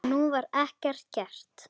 Og nú var ekkert gert.